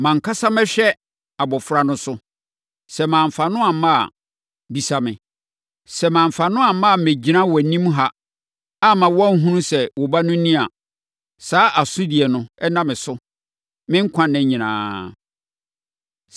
Mʼankasa mɛhwɛ abɔfra no so. Sɛ mamfa no amma a, bisa me. Sɛ mamfa no amma, ammɛgyina wʼanim ha, amma woanhunu sɛ wo ba no ni a, saa asodie no nna me so me nkwanna nyinaa.